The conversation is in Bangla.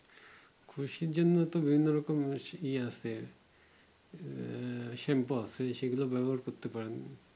খুশকির জন্য তো অন্য রকম ইয়ে আছে আহ Shampoo আছে সেগুলো ব্যবহার করতে পারেন